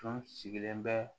Tun sigilen bɛ